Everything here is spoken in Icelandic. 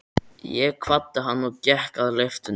Ég kvaddi hann og gekk að lyftunni.